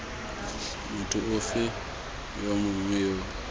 motho ofe yo mongwe yo